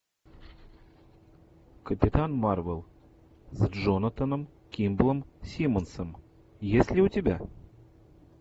капитан марвел с джонатаном кимблом симмонсом есть ли у тебя